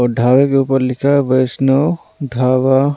और ढाबे के ऊपर हुआ है वैष्णो ढाबा।